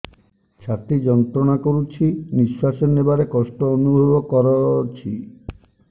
ଛାତି ଯନ୍ତ୍ରଣା କରୁଛି ନିଶ୍ୱାସ ନେବାରେ କଷ୍ଟ ଅନୁଭବ କରୁଛି